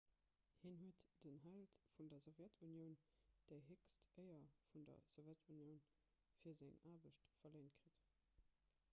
hien huet den held vun der sowjetunioun déi héchst éier vun der sowjetunioun fir seng aarbecht verléint kritt